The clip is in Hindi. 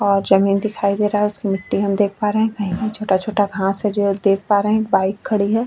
और जमीन दिखाई दे रहा है उसमे मिट्टी हम देख पा रहे है कहीं छोटा छोटा घास है जो देख पा रहे है एक बाइक खड़ी है।